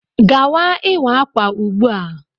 Gawa ịwa ákwà ugbu a.